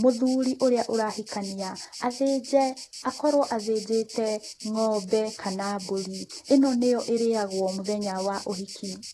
mũthuri ũrĩa ũrahikania athĩnje, akorwo athĩnjĩte ng'ombe kana mbũri, ĩno nĩyo ĩrĩyagwo mũthenya wa ũhiki.